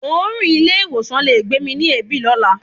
Òórùn ilé-ìwọ̀sàn le gbé mi ni èébì lọ́la.